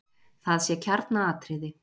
Það sé kjarnaatriði.